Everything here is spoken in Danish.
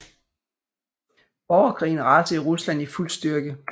Borgerkrigen rasede i Rusland i fuld styrke